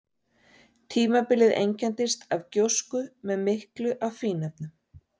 Tímabilið einkenndist af gjósku með miklu af fínefnum.